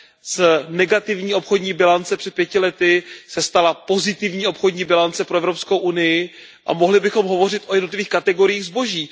Z negativní obchodní bilance před 5 lety se stala pozitivní obchodní bilance pro EU a mohli bychom hovořit o jednotlivých kategoriích zboží.